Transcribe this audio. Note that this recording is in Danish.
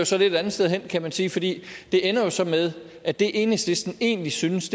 så lidt et andet sted hen kan man sige for det ender så med at det enhedslisten egentlig synes